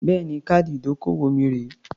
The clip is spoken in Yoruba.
Bẹ́ẹ̀ni. Káàdì ìdókòwò mi rèé.